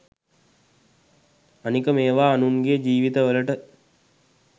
අනික මේවා අනුන්ගේ ජිවිත වලට